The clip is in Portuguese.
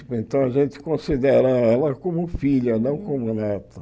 Então a gente considera ela como filha, não como neta.